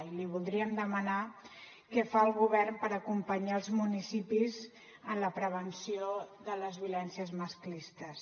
i li voldríem demanar què fa el govern per acompanyar els municipis en la prevenció de les violències masclistes